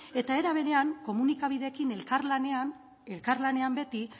era berean komunikabideekin elkarlanean beti